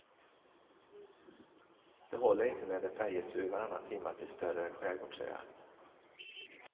Det håller inte med en färjetur varannan timma till större skärgårdsöar.